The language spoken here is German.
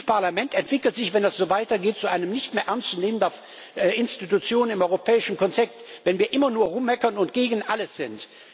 Dieses Parlament entwickelt sich, wenn das so weiter geht, zu einer nicht mehr ernst zu nehmenden Institution im europäischen Konzert, wenn wir immer nur herummeckern und gegen alles sind.